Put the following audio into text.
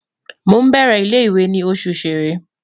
Mo n bẹrẹ ile-iwe ni Oṣù Ṣẹ̀rẹ́